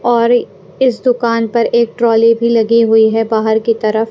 और इस दुकान पर एक ट्रॉली भी लगी हुई है बाहर की तरफ--